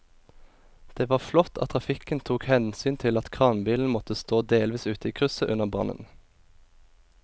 Det var flott at trafikken tok hensyn til at kranbilen måtte stå delvis ute i krysset under brannen.